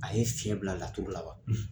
A ye fiɲɛ bila laturu la wa.